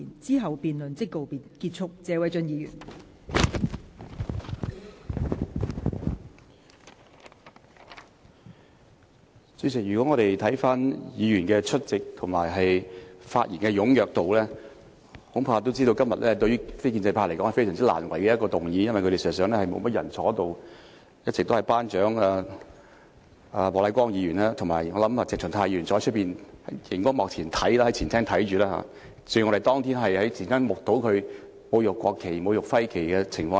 代理主席，如果我們看看出席議員的人數和發言的踴躍程度，恐怕也知道對於非建制派而言，這是一個非常難為的議案，因為事實上他們並沒有太多人在席，一直也只有"班長"莫乃光議員在席，而我想鄭松泰議員大概是在外面的前廳看直播，正如我們當天在前廳目睹他侮辱國旗和區旗的情況一樣。